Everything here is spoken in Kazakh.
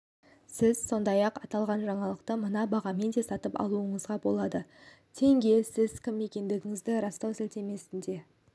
сіз сондай-ақ аталған жаңалықты мына бағамен де сатып алуыңызға болады тенге сіз кім екендігіңізді растау сілтемесіне